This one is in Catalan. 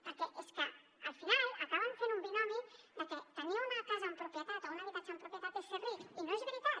perquè és que al final acaben fent un binomi de que tenir una casa en propietat o un habitatge en propietat és ser ric i no és veritat